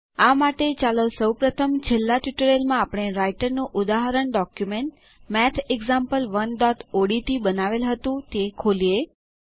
આ માટે ચાલો સૌ પ્રથમ છેલ્લા ટ્યુટોરીયલમાં આપણે રાઈટરનું ઉદાહરણ ડોક્યુમેન્ટ mathexample1ઓડીટી બનાવેલ હતું તે ખોલીએ